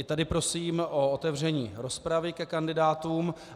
I tady prosím o otevření rozpravy ke kandidátům.